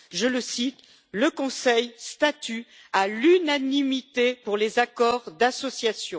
Je le cite le Conseil statue à l'unanimité pour les accords d'association.